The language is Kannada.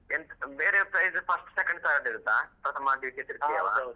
ಎಂತ್ ಬೇರೆ prize first second third ಇರುತ್ತಾ ಪ್ರಥಮ ದ್ವಿತೀಯ ?